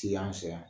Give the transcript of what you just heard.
Ti an fɛ yan